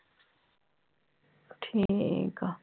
ਠੀਕ ਆ